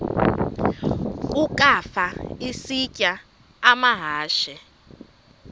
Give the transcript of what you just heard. ukafa isitya amahashe